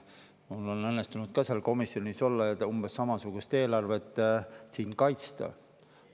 Mul on õnnestunud ka seal komisjonis olla ja umbes samasugust eelarvet siin kaitsta.